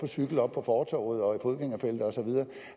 cykel oppe på fortovet og i fodgængerfelter og så videre